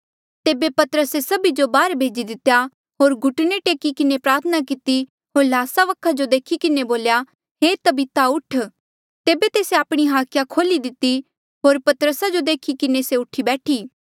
तेबे पतरसे सभी जो बाहर भेजी दितेया होर घुटने टेकी किन्हें प्रार्थना किती होर ल्हासा वखा जो देखी किन्हें बोल्या हे तबीता उठ तेबे तेस्से आपणी हाखिया खोल्ही दिती होर पतरसा जो देखी किन्हें से उठी बैठी